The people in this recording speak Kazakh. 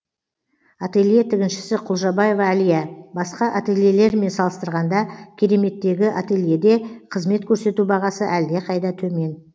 ателье тігіншісі құлжабаева алия басқа ательлелермен салыстырғанда кереметтегі ательеде қызмет көрсету бағасы әлдеқайда төмен